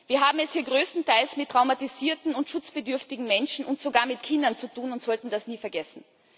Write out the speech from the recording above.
Wir haben es hier größtenteils mit traumatisierten und schutzbedürftigen Menschen und sogar mit Kindern zu tun und sollten das nie vergessen.